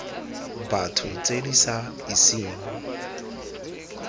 batho tse di sa iseng